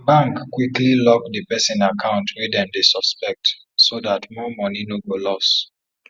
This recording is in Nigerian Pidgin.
bank quickly lock di person account wey dem dey suspect so dat more money no go loss